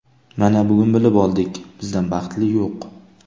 Mana, bugun bilib oldik, bizdan baxtli yo‘q.